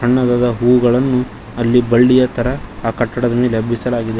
ಸಣ್ಣದಾದ ಹೂವುಗಳನ್ನು ಅಲ್ಲಿ ಬಳ್ಳಿಯ ತರ ಆ ಕಟ್ಟಡದ ಮೇಲೆ ಹಬ್ಬಿಸಲಾಗಿದೆ.